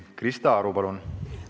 Krista Aru, palun!